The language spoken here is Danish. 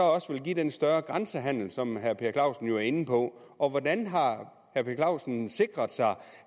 give den større grænsehandel som herre per clausen jo er inde på og hvordan har herre per clausen sikret sig